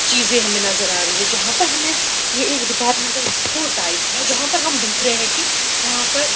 चीजे हमे नजर आ रही है जहां पर हमे ये एक डिपार्ट्मेन्टल स्टोर टाइप है जहां पर हम देख रहे है की यहाँ पर--